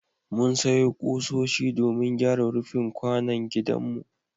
Mun sayo ƙusoshi domin gyara rufin kwanon gidanmu.